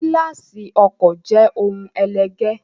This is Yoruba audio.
Gíláàsì ọkọ̀ jẹ ohun ẹlẹgẹ́.